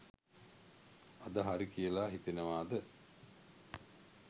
අද හරි කියලා හිතෙනවාද?